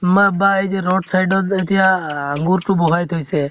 মা বা এই যে road side এতিয়া আহ আঙ্গুৰ টো বহাই থৈছে